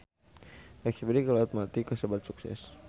Espedisi ka Laut Mati kasebat sukses